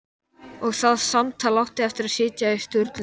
Og það samtal átti eftir að sitja í Sturlu